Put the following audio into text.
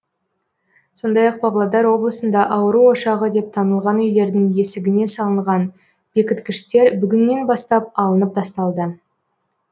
сондай ақ павлодар облысында ауру ошағы деп танылған үйлердің есігіне салынған бекіткіштер бүгіннен бастап алынып тасталды